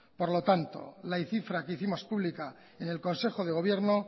por lo tanto la cifra que hicimos pública en el consejo de gobierno